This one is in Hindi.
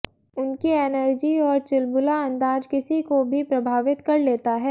उनकी एनर्जी और चुलबुला अंदाज किसी को भी प्रभावित कर लेता है